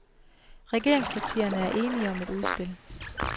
Regeringspartierne er enige om et udspil.